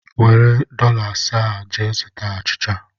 Were dọla asaa a gaa zụta achịcha!